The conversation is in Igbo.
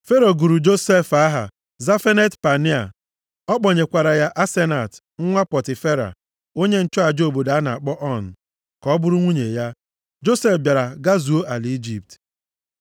Fero gụrụ Josef aha Zafenat-Pania. + 41:45 Aha a pụtara, Onye nwere ike dị ka chi nke nwere ike ndụ na ọnwụ. Ọ kpọnyekwara ya, Asenat, nwa Pọtifera, onye nchụaja obodo a na-akpọ On, + 41:45 Pọtifera bụ onye nchụaja nke obodo On. ka ọ bụrụ nwunye ya. Josef bịara gazuo ala Ijipt.